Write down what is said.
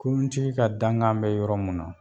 Kuruntigi ka dankan mɛ yɔrɔ mun na